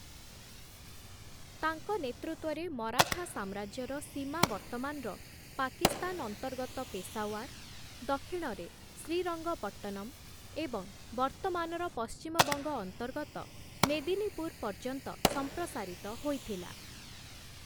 ତାଙ୍କ ନେତୃତ୍ୱରେ ମରାଠା ସାମ୍ରାଜ୍ୟର ସୀମା ବର୍ତ୍ତମାନର ପାକିସ୍ତାନ ଅନ୍ତର୍ଗତ ପେଶାୱାର, ଦକ୍ଷିଣରେ ଶ୍ରୀରଙ୍ଗପଟ୍ଟନମ୍‌ ଏବଂ ବର୍ତ୍ତମାନର ପଶ୍ଚିମବଙ୍ଗ ଅନ୍ତର୍ଗତ ମେଦିନୀପୁର ପର୍ଯ୍ୟନ୍ତ ସମ୍ପ୍ରସାରିତ ହୋଇଥିଲା ।